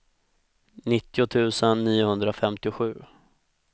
nittio tusen niohundrafemtiosju